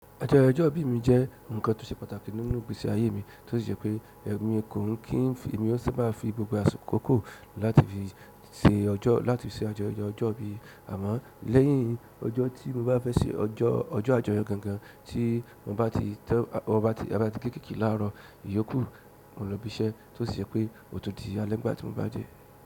Ọjọ́ ìbí mi jẹ́ nǹkan tó ṣe pàtàkì nínú ìgbésí ayé mi tó si je pé ẹrù mi kò ń kí n fi, mo sì máa fi gbogbo àsikó láti fi se ọjọ́, láti fi se ayẹyẹ ọjọ́ ìbí. Àmọ́ lẹ́yìn ọjọ́ tí mo bá fẹ́ se ọjọ́, ọjọ́ àjọyọ̀ gangan tí mo bá ti tẹ́ bá ti ge cake láàárọ̀ iyókù, mo lọ ibi iṣẹ́ tó ṣi je pé ó tun di alẹ́ nígbà tí mo bá dé.